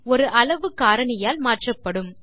ஒரு அளவு காரணியால் மாற்றப்படும்